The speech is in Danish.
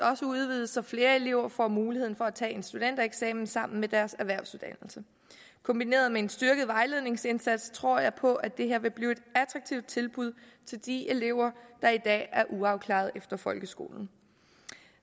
også udvides så flere elever får muligheden for at tage en studentereksamen sammen deres erhvervsuddannelse kombineret med en styrket vejledningsindsats tror jeg på at det her vil blive et attraktivt tilbud til de elever der i dag er uafklarede efter folkeskolen